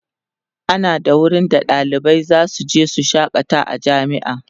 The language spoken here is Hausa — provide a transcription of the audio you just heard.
ana da wurin da ɗalibai zasu je su shakata a jami'a